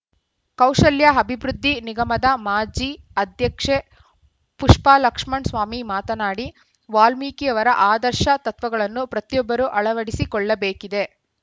ಕೌಶಲ್ಯ ಅಭಿವೃದ್ಧಿ ನಿಗಮದ ಮಾಜಿ ಅಧ್ಯಕ್ಷೆ ಪುಷ್ಪಲಕ್ಷ್ಮಣ್‌ಸ್ವಾಮಿ ಮಾತನಾಡಿ ವಾಲ್ಮೀಕಿಯವರ ಆದರ್ಶ ತತ್ವಗಳನ್ನು ಪ್ರತಿಯೊಬ್ಬರೂ ಅಳವಡಿಸಿ ಕೊಳ್ಳಬೇಕಿದೆ